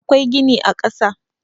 akwai gini na kasa